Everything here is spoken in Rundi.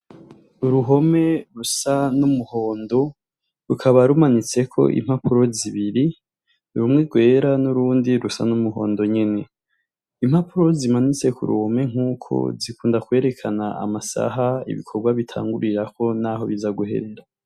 Uruhome rusa numuhondo rukaba rumanitseko impapuro zibir rumwe rwera nurundi rusa numuhondo nyene impapuro zimanitse kuruhome nkuko zikunda kwerekana amasaha ibikorwa bitangurirako naho biza guheza